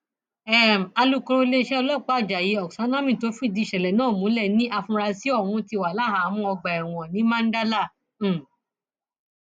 oládùkẹhìn olùbàdàn tuntun yọjú kulẹ àìlera ọba kìí ṣe tojọjọáṣípá